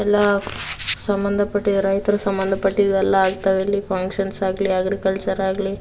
ಎಲ್ಲಾ ಸಂಬಂಧಪಟ್ಟಿದ ರೈತೃ ಸಂಬಂಧ ಪಟ್ಟಿದ್ದು ಎಲ್ಲ ಆಗ್ತವೆ ಇಲ್ಲಿ ಫಂಕ್ಷನ್ಸ್ ಆಗಲಿ ಅಗ್ರಿಕಲ್ಚರ್ ಆಗಲಿ.